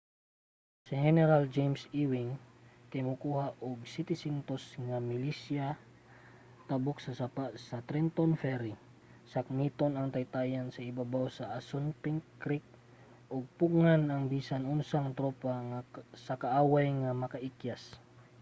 si heneral james ewing kay mokuha og 700 milisya tabok sa sapa sa trenton ferry sakmiton ang taytayan sa ibabaw sa assunpink creek ug pugngan ang bisan unsang tropa sa kaaway nga makaikyas